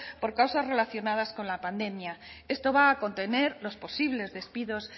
por causas relacionadas con la pandemia esto va a contener los posibles despidos